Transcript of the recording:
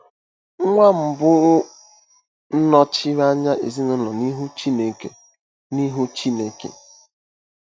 Nwa mbụ nọchiri anya ezinụlọ n'ihu Chineke. n'ihu Chineke.